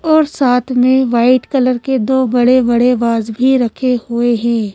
और साथ में वाइट कलर के दो बड़े बड़े बास भी रखे हुए हैं।